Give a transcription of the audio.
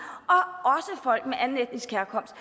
og også folk med anden etnisk herkomst